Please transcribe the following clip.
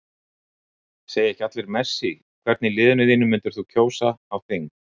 Segja ekki allir Messi Hvern í liðinu þínu myndir þú kjósa á þing?